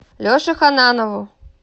леше ханнанову